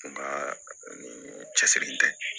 Nga ni cɛsiri tɛ